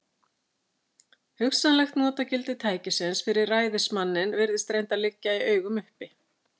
Hugsanlegt notagildi tækisins fyrir ræðismanninn virðist reyndar liggja í augum uppi.